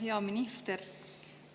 Hea minister!